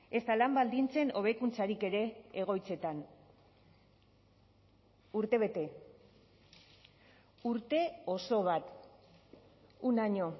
ezta lan baldintzen hobekuntzarik ere egoitzetan urtebete urte oso bat un año